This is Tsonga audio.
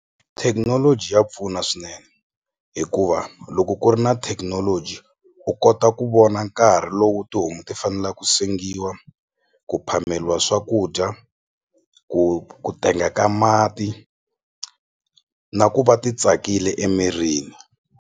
Thekinoloji ya pfuna swinene hikuva loko ku ri na thekinoloji u kota ku vona nkarhi lowu tihomu ti fanela ku sengiwa ku phameliwa swakudya ku ku tenga ka mati na ku va ti tsakile emirini.